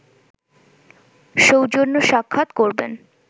সৌজন্য সাক্ষাৎ করবেন